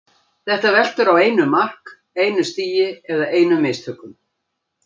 Þetta veltur á einu mark, einu stigi eða einum mistökum.